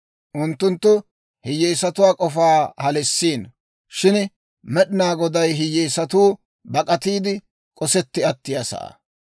Unttunttu hiyyeesatuwaa k'ofaa halissiino; shin Med'inaa Goday hiyyeesatuu bak'atiide, k'osetti attiyaa sa'aa.